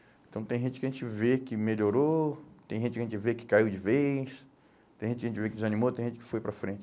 Então tem gente que a gente vê que melhorou, tem gente que a gente vê que caiu de vez, tem gente que a gente vê que desanimou, tem gente que foi para frente.